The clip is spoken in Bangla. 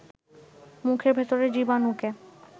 মুখের ভেতরের জীবানুকে